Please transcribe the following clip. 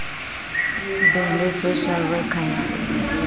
be le social worker ya